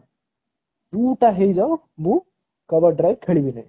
Two ଟା ହେଇ ଯାଉ ମୁଁ cover drive ଖେଳିବିନି।